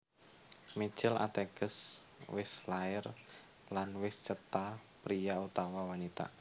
Mijil Ateges wis lair lan wis cetha priya utawa wanita